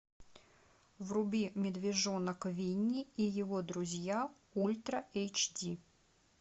вруби медвежонок винни и его друзья ультра эйч ди